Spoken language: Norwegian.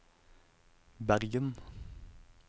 Bergen